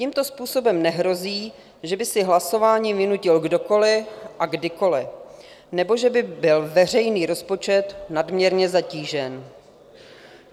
Tímto způsobem nehrozí, že by si hlasování vynutil kdokoli a kdykoli nebo že by byl veřejný rozpočet nadměrně zatížen.